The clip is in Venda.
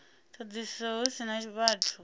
thodisiso hu si na vhathu